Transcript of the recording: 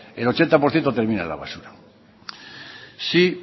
el ochenta por ciento termina en la basura si